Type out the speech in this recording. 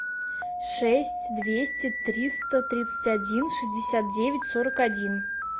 шесть двести триста тридцать один шестьдесят девять сорок один